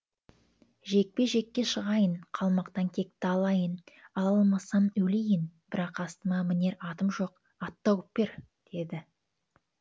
жекпе жекке шығайын қалмақтан кекті алайын ала алмасам өлейін бірақ астыма мінер атым жоқ ат тауып бер дейді